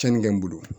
Cɛnni kɛ n bolo